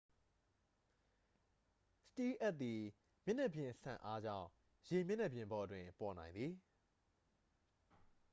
စတီးလ်အပ်သည် မျက်နှာပြင်စန့်အားကြောင့် ရေမျက်နှာပြင်ပေါ်တွင် ပေါ်နိုင်သည်